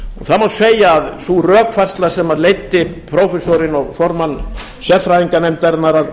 það má segja að sú rökfærsla sem leiddi prófessorinn og formann sérfræðinganefndarinnar að